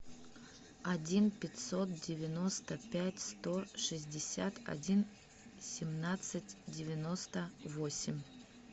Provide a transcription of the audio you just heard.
один пятьсот девяносто пять сто шестьдесят один семнадцать девяносто восемь